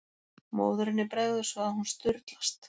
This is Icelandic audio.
Móðurinni bregður svo að hún sturlast.